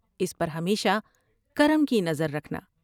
اس پر ہمیشہ کرم کی نظر رکھنا ۔